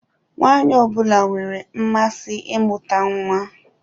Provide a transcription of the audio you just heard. Nwaanyị ọ bụla nwere mmasị imuta nwa.